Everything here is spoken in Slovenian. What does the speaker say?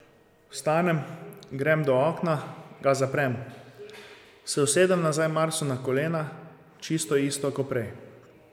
Vstanem, grem do okna, ga zaprem, se usedem nazaj Marsu na kolena, čisto isto ko prej.